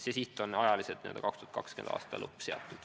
See tähtaeg on 2020. aasta lõpp.